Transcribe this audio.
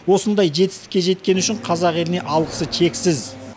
осындай жетістікке жеткені үшін қазақ еліне алғысы шексіз